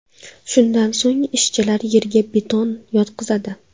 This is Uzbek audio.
Shundan so‘ng ishchilar yerga beton yotqizadi.